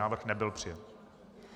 Návrh nebyl přijat.